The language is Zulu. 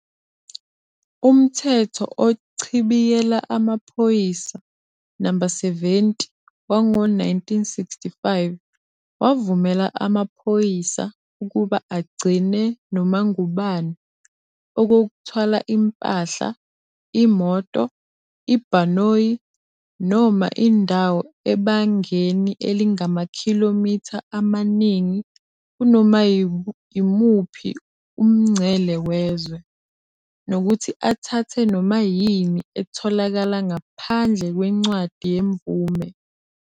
Umthetho Ochibiyela Amaphoyisa, No. 70, wango-1965 wavumela amaphoyisa ukuba agcine noma ngubani, okokuthwala impahla, imoto, ibhanoyi, noma indawo ebangeni elingamakhilomitha amaningi kunoma imuphi umngcele wezwe, nokuthi athathe noma yini etholakala ngaphandle kwencwadi yemvume.